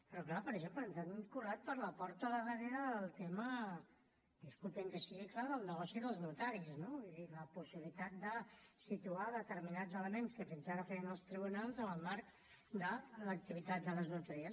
però és clar per exemple ens han colat per la porta del darrere el tema disculpin que sigui clar del negoci dels notaris no vull dir la possibilitat de situar determinats elements que fins ara feien els tribunals en el marc de l’activitat de les notaries